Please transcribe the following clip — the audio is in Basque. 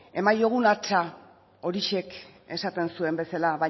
eman diezaiogun hatza horixe esaten zuen bezala